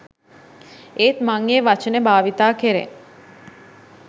ඒත් මං ඒ වචනේ භාවිතා කරේ